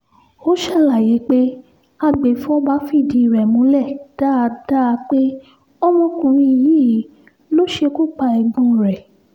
ó ṣàlàyé pé agbèfọ́ba fìdí rẹ̀ múlẹ̀ dáadáa pé ọmọkùnrin yìí ló ṣekú pa ẹ̀gbọ́n rẹ́